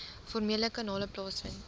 formele kanale plaasvind